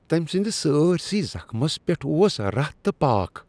تمۍ سٕندس سٲرۍسٕے زخمس پیٹھ اوس رتھ تہٕ پاكھ ۔